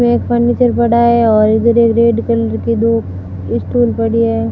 वे एक फर्नीचर पड़ा है और इधर एक रेड कलर के दो इस्टूल पड़ी है।